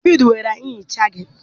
Devidii were nchicha gị